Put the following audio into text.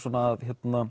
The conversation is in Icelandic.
að